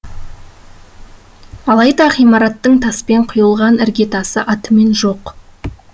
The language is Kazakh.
алайда ғимараттың таспен құйылған іргетасы атымен жоқ